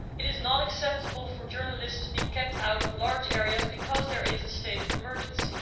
It is not acceptable for journalists to be kept out of large areas because there is a state of emergency.